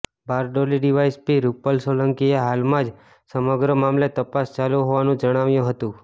Bardoli DYSP Rupal સોલંકીએ હાલમાં સમગ્ર મામલે તપાસ ચાલુ હોવાનું જણાવ્યુ હતું